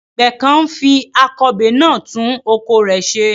Àgbẹ̀ kan ń fi akọbè náà tún oko rẹ̀ ṣe.